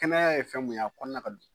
Kɛnɛya ye fɛn mun ye, a kɔnɔna ka dun.